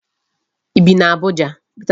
I bi n'Abuja?